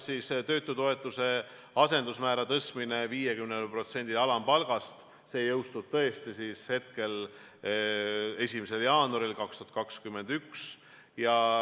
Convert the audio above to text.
Töötutoetuse asendusmäära tõstmine 50%-le alampalgast jõustub tõesti 1. jaanuaril 2021.